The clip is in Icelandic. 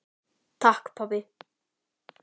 Takk pabbi.